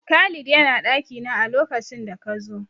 Khalid ya na ɗakina a lokacin da ka zo.